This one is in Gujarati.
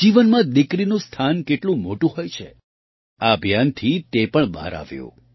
જીવનમાં દીકરીનું સ્થાન કેટલું મોટું હોય છે આ અભિયાનથી તે પણ બહાર આવ્યું